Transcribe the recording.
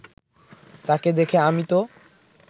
তাকে দেখে আমি তো